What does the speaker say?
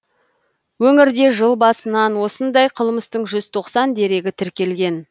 өңірде жыл басынан осындай қылмыстың жүз тоқсан дерегі тіркелген